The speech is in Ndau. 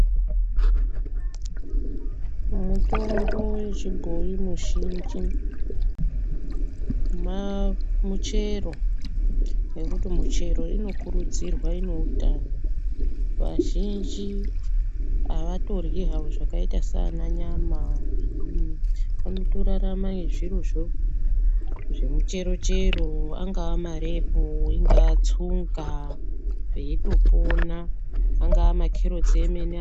Mutombo yechibhoyi mizhinji maa, michero nekuti michero inokudzirwa ineutano vazhinji avatoryi havo zvakaita saana nyama zvinyi vanotorarama nezvirozvo zvemicherochero anga marepu ,ingatsunga veitopona ,angaa makerotsi emene.